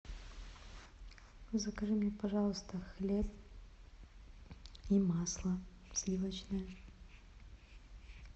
закажи мне пожалуйста хлеб и масло сливочное